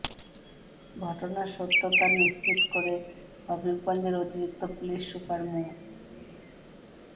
ঘটনার সত্যতা নিশ্চিত করে হবিগঞ্জের অতিরিক্ত পুলিশ সুপার মো